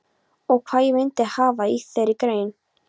Og hvað ég myndi hafa í þeirri grein?